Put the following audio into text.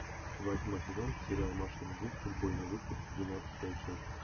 восьмой сезон сериал маша и медведь футбольный выпуск двенадцатая часть